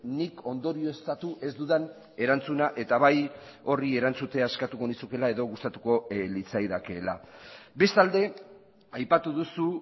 nik ondorioztatu ez dudan erantzuna eta bai horri erantzutea eskatuko nizukeela edo gustatuko litzaidakeela bestalde aipatu duzu